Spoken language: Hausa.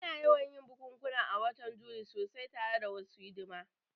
Ana yawan yin bukukuwa a watan Yuli sosai tare da wasu hidima